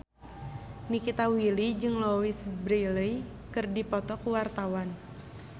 Nikita Willy jeung Louise Brealey keur dipoto ku wartawan